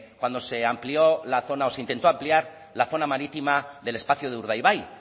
cuando se amplió la zona o cuando se intentó ampliar la zona marítima del espacio de urdaibai